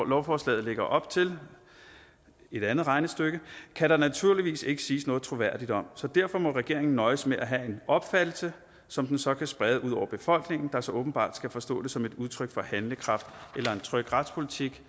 lovforslaget lægger op til et andet regnestykke kan der naturligvis ikke siges noget troværdigt om så derfor må regeringen nøjes med at have en opfattelse som den så kan sprede ud over befolkningen der så åbenbart skal forstå det som et udtryk for handlekraft eller tryg retspolitik